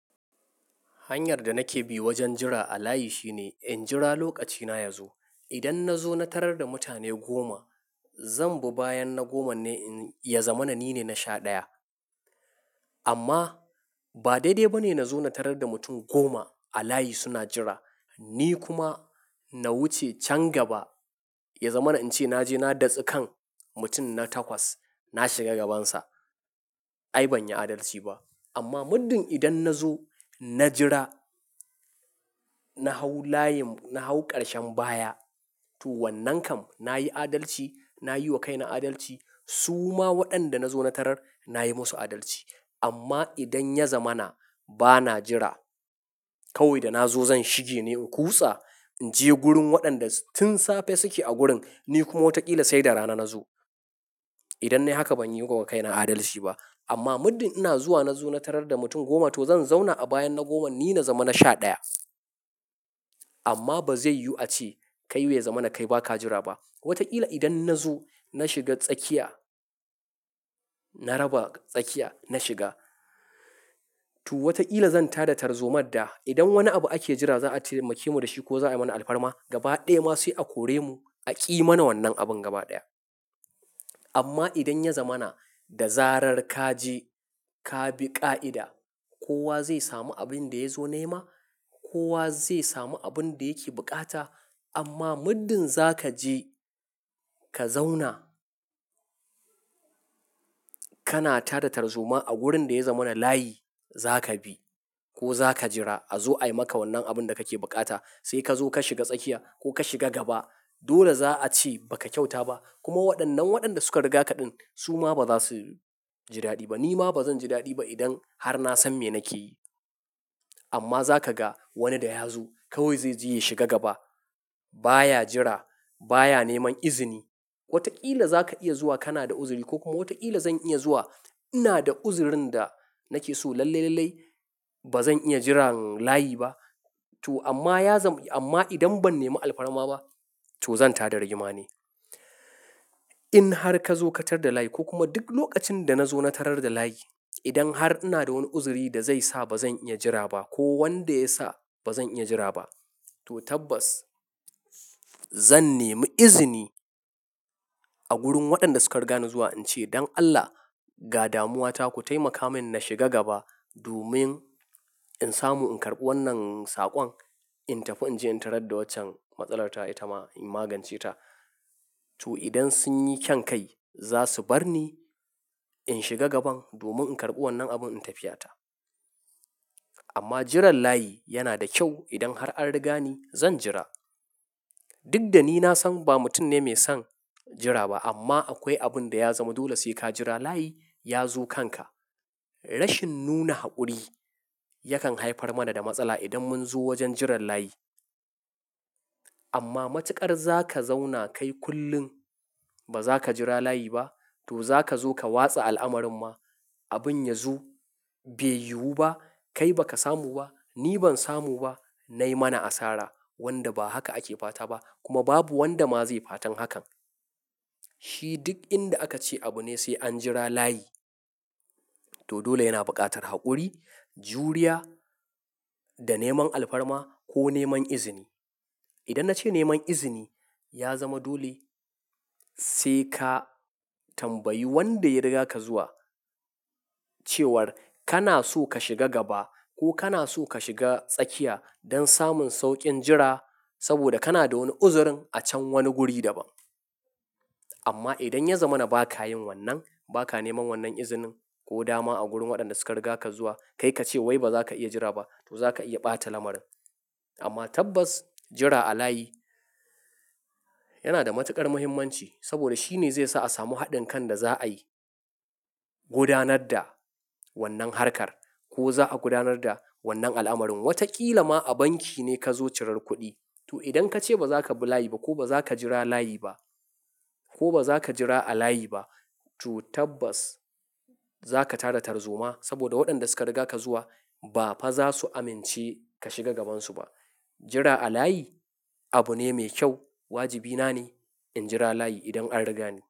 Hanyar da nake bi wajen jira a layi shine in jira lokacina ya zo. Idan na zo na tarar da mutane goma, zan bi bayan na goma ne ya zama na ni ne na sha ɗaya. Amma ba daidai ba ne na zo na tarar da mutum goma a layi suna jira, ni kuma na wuce can gaba ya zama na in ce na je na datsi kan mutum na takwas, na shiga gabansa. Ai ban yi adalci ba. Amma muddin idan na zo na jira, na hau layin, na hau ƙarshen baya, to wannan kam na yi adalci, na yi wa kaina adalci. Su ma waɗanda na zo na tarar na yi musu adalci. Amma idan ya zama na ba na jira, kawai da na zo zan shige ne in kutsa, in je gurin waɗanda tun safe suke a gurin, ni kuma wataƙila sai da rana na zo. Idan nayi haka ban yi wa kaina adalci ba. Amma muddin ina zuwa na zo na tarar da mutum goma, to zan zauna a bayan na goma ni na zama na sha ɗaya. Amma ba zai yiwu a ce kai bai zama na kai ba ka jira ba. Wataƙila idan na zo na shiga tsakiya, na raba tsakiya na shiga, to wataƙila zan tada tarzomar da idan wani abu ake jira za a taimake mu da shi ko za a yi mana alfarma. Gaba ɗaya ma sai a kore mu a ƙi mana wannan abin gaba ɗaya. Amma idan ya zama na da zarar ka je ka bi ƙa'ida, kowa zai samu abin da ya zo nema, kowa zai samu abin da yake bukata. Amma muddin za ka je ka zauna, kana tada tarzoma a gurin da ya zama na layi, za ka bi ko za ka jira a zo ai maka wannan abin da kake bukata. Sai ka zo ka shiga tsakiya ko ka shiga gaba. Dole za a ce ba ka kyauta ba. Kuma waɗannan waɗanda suka riga kaɗan su ma ba za su jidaɗi ba. Ni ma ba zan jiraɗi ba idan har na san me nake yi. Amma za ka ga wani da ya zo kawai zai je ya shiga gaba. Ba ya jira, ba ya neman izini. Wataƙila za ka iya zuwa kana da uzuri ko kuma wataƙila zan iya zuwa ina da uzurin da nake so lallailalai. Ba zan iya jiran layi ba. To amma ya zam-- amma idan ban nemi alfarma ba to zan tada rigima ne. In har ka zo katar da layi ko kuma duk lokacin da na zo na tarar da layi, idan har ina da wani uzuri da zai sa ba zan iya jira ba ko wanda ya sa ba zan iya jira ba, to tabbas zan nemi izini a gurin waɗanda suka riga ni zuwa in ce, "don Allah ga damuwa ta ku taimaka min na shiga gaba domin in samu in karɓi wannan saƙon, in tafi in je in tarar da waccan matsalar ta ita ma in magance ta." To idan sun yi kyan kai za su bar ni in shiga gaban domin in karɓi wannan abin in tafiyata. Amma jiran layi yana da kyau. Idan har an riga ni zan jira. Duk da ni na san ba mutum ne mai son jira ba amma akwai abin da ya zama dole sai ka jira layi ya zo kanka. Rashin nuna haƙuri yakan haifar mana da matsala idan mun zo wajen jiran layi. Amma matuƙar za ka zauna kai kullum ba za ka jira layi ba, to za ka zo ka watse al'amarin ma. Abin ya zo bai yiwu ba, kai ba ka samu ba, ni ban samu ba, nai mana asara wanda ba haka ake fata ba kuma babu wanda ma zai fatan hakan. Shi duk inda aka ce abu ne sai an jira layi, to dole yana buƙatar haƙuri, juriya da neman alfarma ko neman izini. Idan na ce neman izini ya zama dole sai ka tambayi wanda ya riga ka zuwa cewar kana so ka shiga gaba ko kana so ka shiga tsakiya don samun sauƙin jira saboda kana da wani uzurin a can wani guri daban. Amma idan ya zama na ba ka yin wannan, ba ka neman wannan izinin ko dama a gurin waɗanda suka riga ka zuwa kai ka ce wai ba za ka iya jira ba to za ka iya ɓata lamarin. Amma tabbas jira a layi yana da matuƙar muhimmanci saboda shi ne zai sa a samu haɗin kan da za a yi gudanar da wannan harkar ko za a gudanar da wannan al'amarin. Wataƙila ma a banki ne ka zo cirar kuɗi. To idan ka ce ba za ka bi layi ba ko ba za ka jira layi ba ko ba za ka jira a layi ba, to tabbas za ka tada tarzoma saboda waɗanda suka riga ka zuwa ba fa za su amince ka shiga gabansu ba. Jira a layi abu ne mai kyau. Wajibina ne in jira layi idan an riga ni.